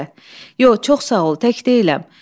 Həmidə, yox, çox sağ ol, tək deyiləm.